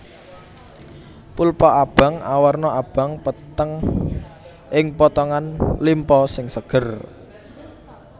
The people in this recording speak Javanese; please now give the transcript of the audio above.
Pulpa abang awarna abang peteng ing potongan limpa sing seger